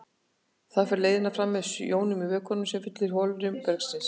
Þar fer leiðnin fram með jónum í vökvanum sem fyllir holrými bergsins.